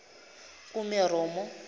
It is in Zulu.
kumeromo